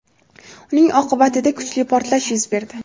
uning oqibatida kuchli portlash yuz berdi.